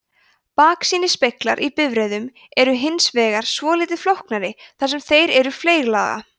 baksýnisspeglar í bifreiðum eru hins vegar svolítið flóknari þar sem þeir eru fleyglaga